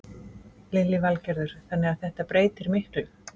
Lillý Valgerður: Þannig að þetta breytir miklu?